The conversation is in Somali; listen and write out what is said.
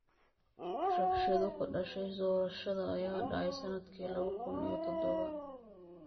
Rabshado ka dhashay doorashada ayaa dhacay sannadkii laba kun iyo toddoba.